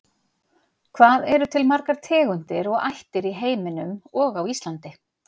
Hvað eru til margar tegundir og ættir í heiminum og á Íslandi?